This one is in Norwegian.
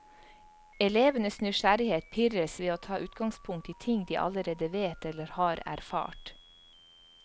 Elevenes nysgjerrighet pirres ved å ta utgangspunkt i ting de allerede vet eller har erfart.